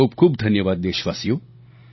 ખૂબખૂબ ધન્યવાદ દેશવાસીઓ